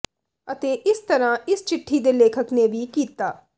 ਅਤੇ ਇਸ ਤਰ੍ਹਾਂ ਇਸ ਚਿੱਠੀ ਦੇ ਲੇਖਕ ਨੇ ਵੀ ਕੀਤਾ